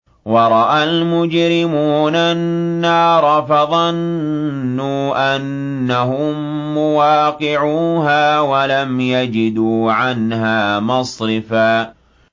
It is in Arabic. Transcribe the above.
وَرَأَى الْمُجْرِمُونَ النَّارَ فَظَنُّوا أَنَّهُم مُّوَاقِعُوهَا وَلَمْ يَجِدُوا عَنْهَا مَصْرِفًا